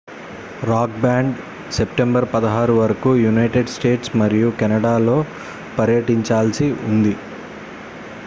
rock band September 16 వరకు United States మరియు కెనడాలో పర్యటించాల్సి ఉంది